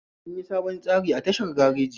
An yi sabon tsari tashar gareji